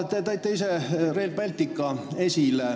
Te tõite aga ise esile Rail Balticu.